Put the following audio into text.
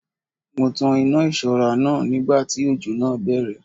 Mo tan iná ìṣọ́ra náà nígbà tí òjò náà bẹ̀rẹ̀